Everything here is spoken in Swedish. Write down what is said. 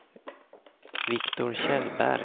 Viktor Kjellberg